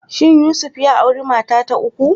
Shin Yusuf ya auri mata ta uku?